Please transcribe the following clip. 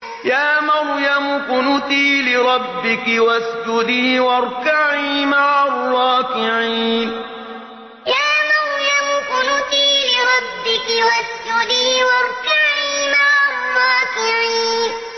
يَا مَرْيَمُ اقْنُتِي لِرَبِّكِ وَاسْجُدِي وَارْكَعِي مَعَ الرَّاكِعِينَ يَا مَرْيَمُ اقْنُتِي لِرَبِّكِ وَاسْجُدِي وَارْكَعِي مَعَ الرَّاكِعِينَ